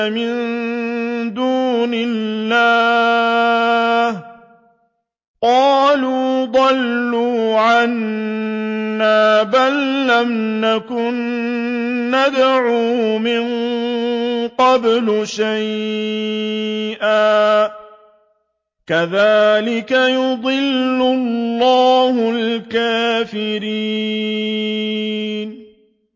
مِن دُونِ اللَّهِ ۖ قَالُوا ضَلُّوا عَنَّا بَل لَّمْ نَكُن نَّدْعُو مِن قَبْلُ شَيْئًا ۚ كَذَٰلِكَ يُضِلُّ اللَّهُ الْكَافِرِينَ